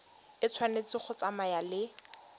e tshwanetse go tsamaya le